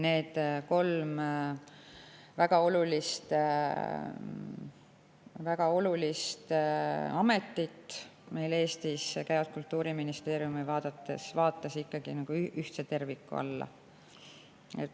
Need kolm väga olulist ametit meil Eestis Kultuuriministeeriumi vaates ikkagi ühtsesse tervikusse.